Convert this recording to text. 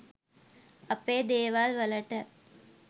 අපේ දේවල්වලට